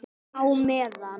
Á meðan